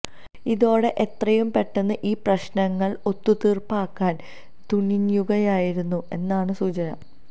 ഇതോടെ എത്രയും പെട്ടെന്ന് ഈ പ്രശ്നങ്ങള് ഒത്തു തീര്പ്പാക്കാന് തുനിയുകയായിരുന്നു എന്നാണ് സൂചന